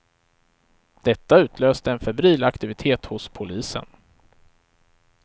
Detta utlöste en febril aktivitet hos polisen.